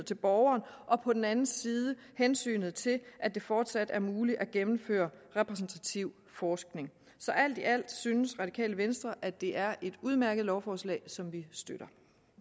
til borgeren og på den anden side hensynet til at det fortsat skal være muligt at gennemføre repræsentativ forskning så alt i alt synes radikale venstre at det er et udmærket lovforslag som vi støtter